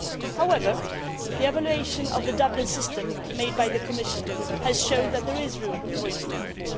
However, the evaluation of the Dublin system made by the Commission has shown that there is room for improvement.